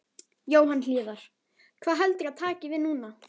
Jóhann Hlíðar: Hvað heldurðu að taki við núna?